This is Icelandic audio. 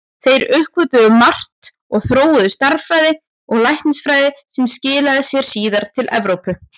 Þeir uppgötvuðu margt og þróuðu stærðfræði og læknisfræði sem skilaði sér síðar til Evrópu.